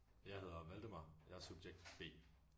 Jeg hedder Valdemar og jeg er subjekt B